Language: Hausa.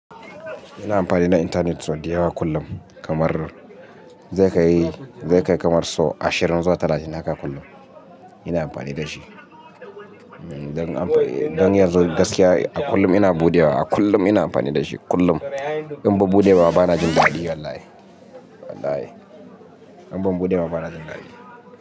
Ina amfani da internet sau dayawa kullum kamar zai kai, zai kai kamar sau ashirin zuwa talatin haka kullum. Ina amfani da shi don amfani don yazo gaskiya a kullum ina buɗewa, a kullum ina amfani da shi kullum. In ban buɗe ba bana jin daɗi wallahi, wallahi in ban buɗe ba bana jin daɗi.